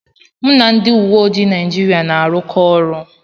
Mụ na ndị uwe ojii Naijiria na-arụkọ ọrụ.